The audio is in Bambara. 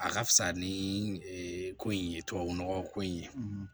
A ka fisa ni ko in ye tubabu nɔgɔ ko in